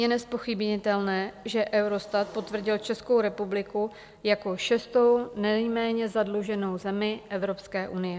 Je nezpochybnitelné, že Eurostat potvrdil Českou republiku jako šestou nejméně zadluženou zemi Evropské unie.